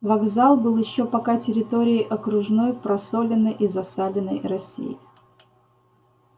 вокзал был ещё пока территорией окружной просоленной и засаленной россии